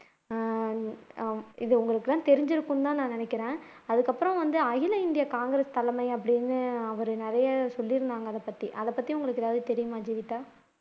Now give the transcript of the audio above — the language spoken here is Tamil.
அஹ் இது உங்களுக்கெல்லாம் தெரிஞ்சிருக்கும் அப்படின்னு நினைக்கிறேன் அதுக்கப்புறம் வந்து அகில இந்திய தலைமை அப்படின்னு அவர் நிறைய சொல்லி இருந்தாங்க அதைப்பத்தி எதாவது தெரியுமா ஜீவிதா